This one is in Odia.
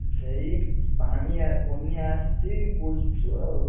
ଏଇ ପାଣି ଆ ବନ୍ୟା ଆସିଛି ବୁଲୁଚୁ ଆଉ